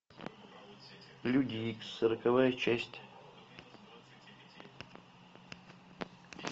люди икс сороковая часть